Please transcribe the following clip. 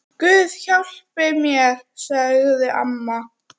Guð hjálpi mér, sagði amma.